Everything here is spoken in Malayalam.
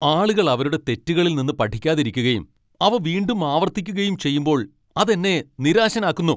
ആളുകൾ അവരുടെ തെറ്റുകളിൽ നിന്ന് പഠിക്കാതിരിക്കുകയും അവ വീണ്ടും ആവർത്തിക്കുകയും ചെയ്യുമ്പോൾ അത് എന്നെ നിരാശനാക്കുന്നു.